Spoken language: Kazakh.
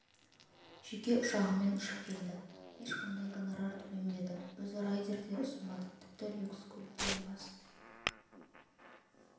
жеке ұшағымен ұшып келді ешқандай гонорар төленбеді өзі райдер де ұсынбады тіпті люкс көліктен бас